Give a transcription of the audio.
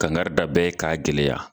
Kangari da bɛɛ ye k'a gɛlɛya